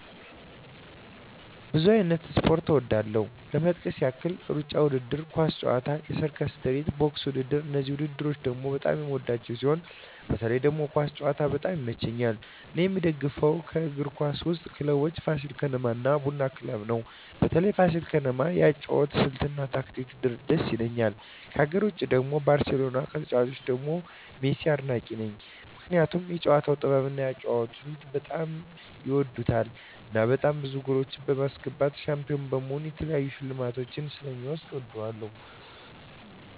ብዙ አይነት ስፖርት እወዳለሁ ለመጥቀስ ያህል እሩጫ ውድድር፣ ኳስ ጨዋታ፣ የሰርከስ ትርኢት፣ ቦክስ ውድድር እነዚህን ውድድር በጣም የምወዳቸው ሲሆን በተለይ ደግሞ ኳስ ጨዋታ በጣም ይመቸኛል እኔ የምደግፈው ከአገር ውስጥ ክለቦች ፋሲል ከነማ እና ቡና ክለብ ነው በተለይ ፋሲል ከነማ የአጨዋወት ስልት እና ታክቲኩ ድስ ይላል ከሀገር ውጭ ደግሞ ባርሴሎና ከተጫዋቾቹ ደግሞ ሜሲን አድናቂ ነኝ ምክንያቱም የጨዋታው ጥበብ እና የአጨዋወት ስልቱ በጣም ይወደድለታል እናም በጣም ብዙ ጎሎች በማስገባት ሻንፒሆን በመሆን የተለያዩ ሽልማቶችን ስለ ሚወስድ እወደዋለሁ።